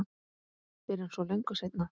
Fyrr en svo löngu seinna.